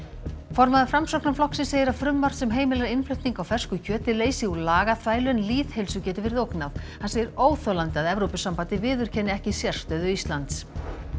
formaður Framsóknarflokksins segir að frumvarp sem heimilar innflutning á fersku kjöti leysi úr lagaþvælu en lýðheilsu geti verið ógnað hann segir óþolandi að Evrópusambandið viðurkenni ekki sérstöðu Íslands